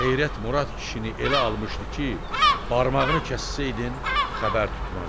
Heyrət Murad kişini elə almışdı ki, barmağını kəssəydin xəbər tutmazdı.